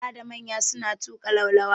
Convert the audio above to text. Yara da manya na tuƙa laulawa.